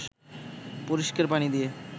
পরিষ্কার পানি দিয়ে